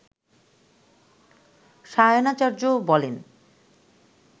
সায়নাচার্য্য বলেন